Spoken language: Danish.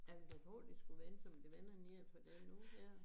Jeg ville da tro det skulle vende som det vender nede på den nu her